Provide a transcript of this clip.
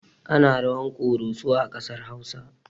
Ana rawar ƙoroso a ƙasar hausa